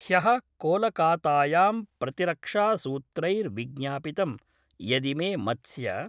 ह्यः कोलकातायां प्रतिरक्षासूत्रैर्विज्ञापितं यदिमे मत्स्य